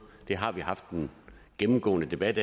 vi har haft en gennemgående debat